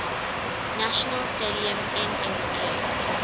national stadium nsk